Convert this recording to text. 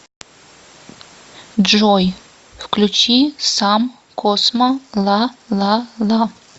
джой включи сам космо ла ла ла